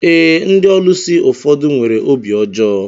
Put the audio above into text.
Ee, ndị ọlusi ụfọdụ nwere obi ọjọọ